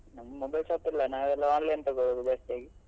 ನಮ್ಮ್ mobile shop ಇಲ್ಲ ನಾವೆಲ್ಲಾ online ತಗೊಳ್ಳುದು ಜಾಸ್ತಿ ಆಗಿ.